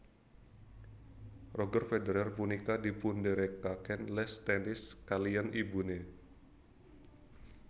Roger Federer punika dipunderekaken les tenis kaliyan ibune